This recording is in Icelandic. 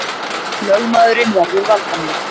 Lögmaðurinn verður valdameiri